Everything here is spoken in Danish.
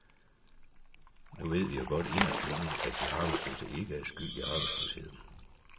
Nu ved vi jo godt inderst inde, at de arbejdsløse ikke er skyld i arbejdsløsheden.